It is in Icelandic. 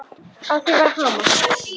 Á því var hamast.